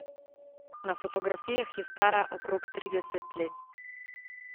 Na fotografijah je stara okrog trideset let.